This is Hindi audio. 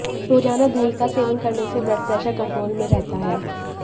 रोजाना दही का सेवन करने से ब्लड प्रेशर कंट्रोल में रहता है